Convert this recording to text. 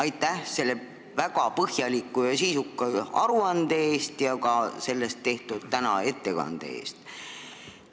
Aitäh selle väga põhjaliku ja sisuka aruande eest ja ka selle kohta täna tehtud ettekande eest!